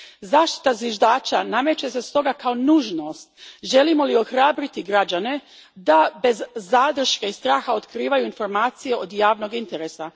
Zaštita zviždača nameće se stoga kao nužnost želimo li ohrabriti građane da bez zadrške i straha otkrivaju informacije od javnog interesa.